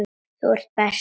Þú ert bestur.